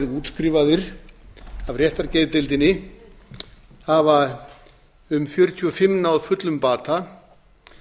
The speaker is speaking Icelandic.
útskrifaðir af réttargeðdeildinni hafa um fjörutíu og fimm náð fullum bata